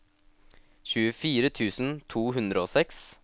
tjuefire tusen to hundre og seks